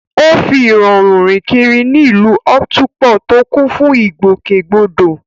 Ó fi ìrọ̀rùn rìn kiri ní ìlú Otukpo tó kún fún ìgbòkègbodò